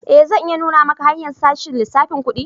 Eh, zan iya nuna maka hanya'n sashen lissafin kudi.